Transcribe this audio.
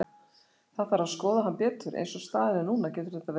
Það þarf að skoða hann betur, eins og staðan er núna getur þetta verið allt.